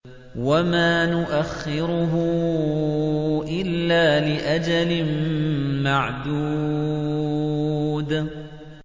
وَمَا نُؤَخِّرُهُ إِلَّا لِأَجَلٍ مَّعْدُودٍ